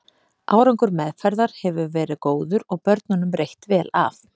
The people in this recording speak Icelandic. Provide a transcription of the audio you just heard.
Árangur meðferðar hefur verið góður og börnunum reitt vel af.